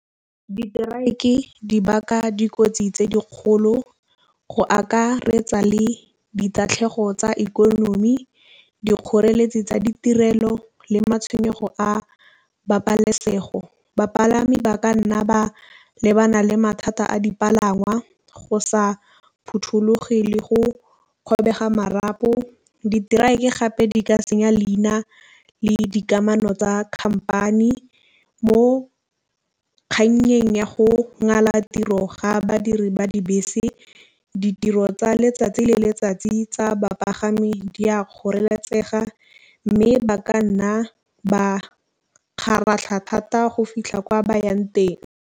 diteraeke di baka dikotsi tse dikgolo go akaretsa le ditatlhego tsa ikonomi dikgoreletsi tsa ditirelo le matšhwenyego a babalesego. Bapalami ba ka nna ba lebana le mathata a dipangwa go sa phothulogile le go kgobega marapo. Diterekere gape di ka senya leina le dikamano tsa company. Mo kgannyeng ya go ngwala tiro ga badiri ba dibese ditiro tsa letsatsi le letsatsi tsa bapagami di a kgoreletsi pega mme ba ka nna ba kgaratlha thata go fitlha kwa bayang teng.